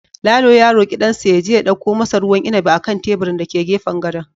Lalo ya roki dansa ya je ya dauko masa ruwan inabi a kan teburin da ke gefen gadon